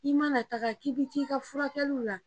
I ma na taga k'i bi t'i ka furakɛliw la